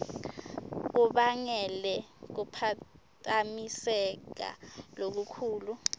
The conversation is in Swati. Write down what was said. kubangele kuphatamiseka lokukhulu